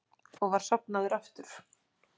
Og var sofnaður aftur.